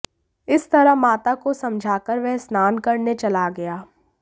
इस तरह माता को समझाकर वह स्नान करने चला गया